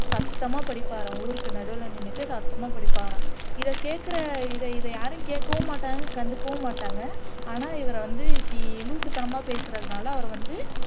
சத்தமா படிப்பாராம் ஊருக்கு நடுவுல நின்னுடடு சத்தமா படிப்பாராம் இதை கேக்குற இதை இதை யாரும் கேக்கவும் மாட்டாங்க கண்டுக்கவும் மாட்டாங்க ஆனா இவர வந்து இப்படி லூசுத்தனமா பேசுறதுனால அவரை வந்து